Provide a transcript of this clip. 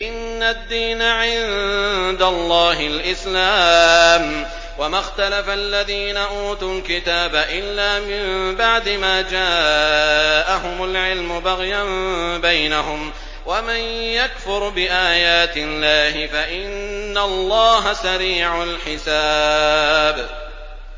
إِنَّ الدِّينَ عِندَ اللَّهِ الْإِسْلَامُ ۗ وَمَا اخْتَلَفَ الَّذِينَ أُوتُوا الْكِتَابَ إِلَّا مِن بَعْدِ مَا جَاءَهُمُ الْعِلْمُ بَغْيًا بَيْنَهُمْ ۗ وَمَن يَكْفُرْ بِآيَاتِ اللَّهِ فَإِنَّ اللَّهَ سَرِيعُ الْحِسَابِ